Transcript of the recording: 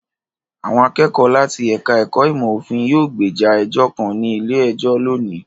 Àwọn akẹ́kọ̀ọ́ láti ẹ̀ka-ẹ̀kọ́ ìmọ̀-òfin yóò gbèjà ẹjọ́ kan ní ilé-ẹjọ́ lónìí.